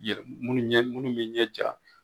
yɛlɛ munnu ye munnu ye ɲɛ ja